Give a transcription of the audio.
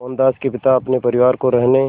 मोहनदास के पिता अपने परिवार को रहने